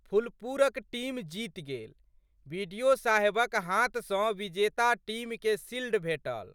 फुललपुरक team जीत गेल। BDO साहेबक हाथ सँ विजेता टीमके शिल्ड भेटल।